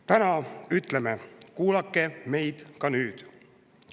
Täna ütleme: kuulake meid ka nüüd.